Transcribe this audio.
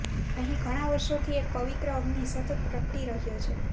અહીં ઘણા વર્ષોથી એક પવિત્ર અગ્નિ સતત પ્રગટી રહ્યો છે